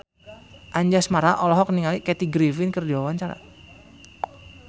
Anjasmara olohok ningali Kathy Griffin keur diwawancara